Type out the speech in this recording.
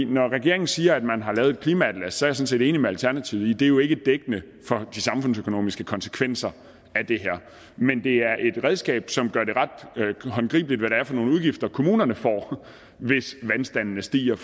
når regeringen siger at man har lavet et klimaatlas så jeg set enig med alternativet i at det jo ikke er dækkende for de samfundsøkonomiske konsekvenser af det her men det er et redskab som gør det ret håndgribeligt hvad det er for nogle udgifter kommunerne får hvis vandstandene stiger og